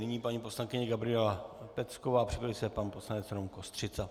Nyní paní poslankyně Gabriela Pecková, připraví se pan poslanec Rom Kostřica.